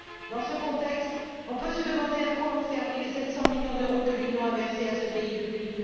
Dans ce contexte, on peut se demander à quoi ont servi les 700 millions d'euros que l'Union a versés à ce pays depuis